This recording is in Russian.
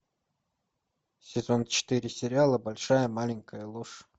сезон четыре сериала большая маленькая ложь